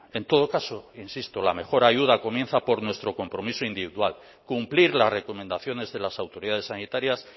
en todo caso insisto la mejor ayuda comienza por nuestro compromiso individual cumplir las recomendaciones de las autoridades sanitarias